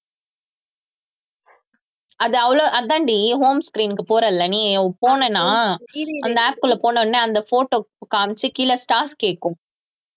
அது அவ்ளோ, அதான்டி home screen க்கு போற இல்லை நீ போனேன்னா அந்த app க்குள்ள போன உடனே அந்த photo காமிச்சு கீழே stars கேக்கும்